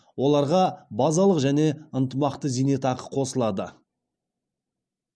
оларға базалық және ынтымақты зейнетақы қосылады